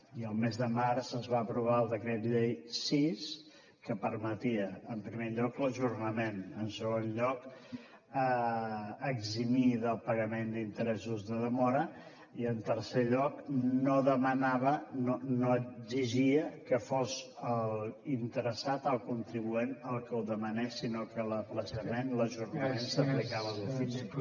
i al mes de març es va aprovar el decret llei sis que permetia en primer lloc l’ajornament en segon lloc eximir del pagament d’interessos de demora i en tercer lloc no demanava no exigia que fos l’interessat el contribuent el que ho demanés sinó que l’ajornament s’aplicava d’ofici